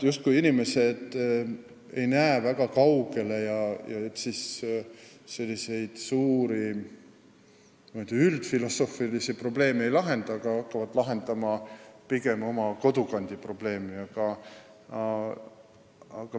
Inimesed ei näe justkui väga kaugele, arvates, et siis ju suuri, üldfilosoofilisi probleeme ei lahendata, hakatakse pigem oma kodukandi probleeme lahendama.